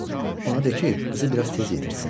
Ona de ki, qızı biraz tez yetirtsin.